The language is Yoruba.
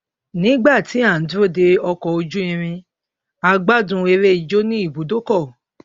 nígbà tí a ń dúró de ọkọ ojú irin a gbádùn eré ijó ní ibùdókọ